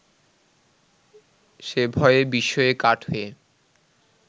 সে ভয়ে বিস্ময়ে কাঠ হয়ে